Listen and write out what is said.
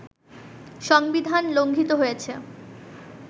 সংবিধান লঙ্ঘিত হয়েছে